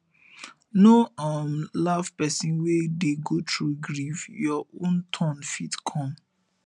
no um laugh person wey dey go through grief your own turn fit come